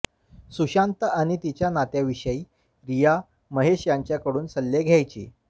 सुशांत आणि तिच्या नात्याविषयी रिया महेश यांच्याकडून सल्ले घ्यायची